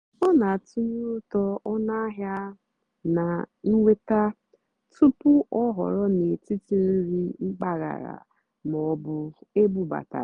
ọ́ nà-àtụ́nyeré ùtó ónúàhịá nà nnwètá túpú ọ́ họ̀rọ́ n'étìtì nrì mpàgàrà mà ọ́ bụ́ ébúbátàrá.